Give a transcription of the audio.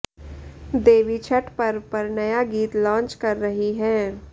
देवी छठ पर्व पर नया गीत लाॅन्च कर रही हैं